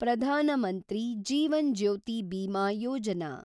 Pradhan Mantri Jeevan Jyoti Bima Yojana